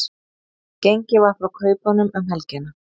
Gengið var frá kaupunum um helgina